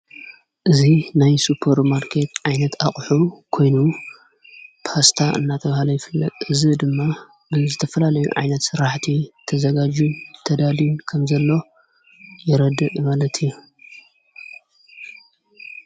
እዙ ናይ ሱጰር ማርከት ዓይነት ኣቕሑ ኾይኑ ፖስታ እናተብሃለ ይፍለ እዝ ድማ ብን ዘተፈላለዩ ዓይነት ሠራሕቲ ተዘጋዩጂዮ ተዳልን ከም ዘሎ የረድ መለት እዮ።